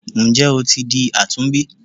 Nje o ti di àtúnbí?